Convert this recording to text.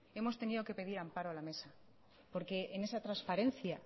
hemos tenido que pedir amparo a la mesa porque en esa transparencia